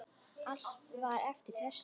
Allt var eftir þessu.